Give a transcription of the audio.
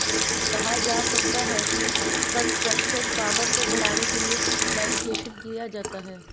कहा जा सकता है कि कंसंट्रेशन पावर को बढ़ाने के लिए मेडिटेशन किया जाता है